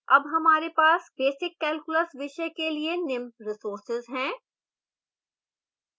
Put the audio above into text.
अब हमारे पास basic calculus विषय के लिए निम्न resources हैं